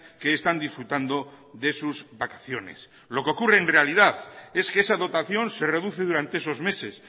que están disfrutando de sus vacaciones lo que ocurre en realidad es que esa dotación se reduce durante esos meses